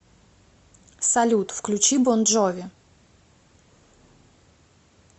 салют включи бон джови